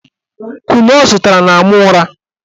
Kunu ọ zụtara na-ama ụra